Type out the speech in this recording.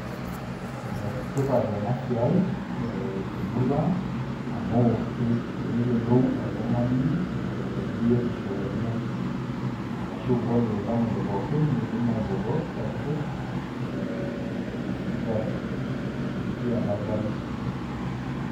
Enetipat enasia temurua aang amu peyiolou oltungani ee biotisho enye arashu ore ltamoyia pookin nidim ainoto services e sipitali ipitia oldakitari.